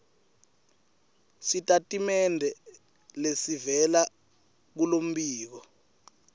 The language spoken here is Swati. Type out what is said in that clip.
sitatimende lesivela kulombiko